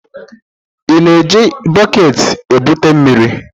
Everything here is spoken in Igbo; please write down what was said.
Ị na-eji bọket na-ebute mmiri?